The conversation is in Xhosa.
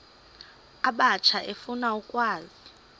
abatsha efuna ukwazi